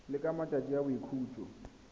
le ka matsatsi a boikhutso